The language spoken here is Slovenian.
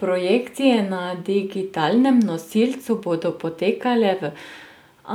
Projekcije na digitalnem nosilcu bodo potekale v